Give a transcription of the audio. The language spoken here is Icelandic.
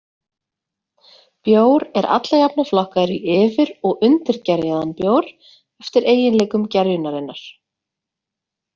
Bjór er alla jafna flokkaður í yfir- og undirgerjaðan bjór eftir eiginleikum gerjunarinnar.